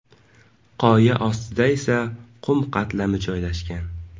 Qoya ostida esa qum qatlami joylashgan.